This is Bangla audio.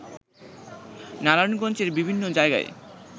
নারায়ণগঞ্জের বিভিন্ন জায়গা